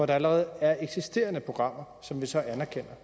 der allerede er eksisterende programmer som vi så anerkender